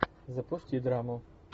запусти драму